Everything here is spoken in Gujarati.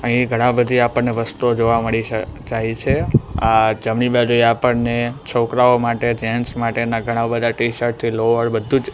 અહિયે ઘણા બધી આપણને વસ્તુઓ જોવા મડી છે જાઇ છે આ જમની બાજુએ આપણને છોકરાઓ માટે જેન્ટ્સ માટેના ઘણા બધા ટીશર્ટ છે લોવર બધુજ--